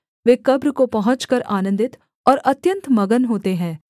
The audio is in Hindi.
वे कब्र को पहुँचकर आनन्दित और अत्यन्त मगन होते हैं